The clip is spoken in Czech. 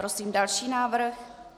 Prosím další návrh.